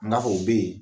N ga fɔ u be yen